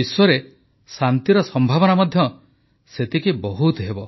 ବିଶ୍ୱରେ ଶାନ୍ତିର ସମ୍ଭାବନା ମଧ୍ୟ ସେତେ ବହୁତ ହେବ